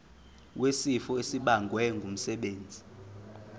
wesifo esibagwe ngumsebenzi